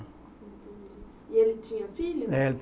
E ele tinha filhos?